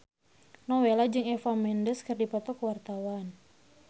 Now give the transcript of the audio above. Nowela jeung Eva Mendes keur dipoto ku wartawan